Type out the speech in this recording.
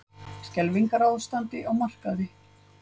Skelfingarástand á markaði